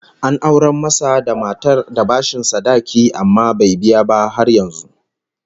An aurar masa da matar da bashin sadaki, amma bai biya ba har yanzu